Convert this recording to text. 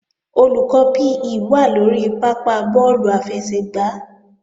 Olùkọ́ PE wà lórí pápá bọ́ọ̀lù àfẹsẹ̀gbá